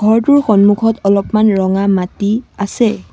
ঘৰটোৰ সন্মুখত অলপমান ৰঙা মাটি আছে।